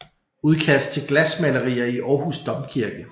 Udkast til glasmalerier i Århus Domkirke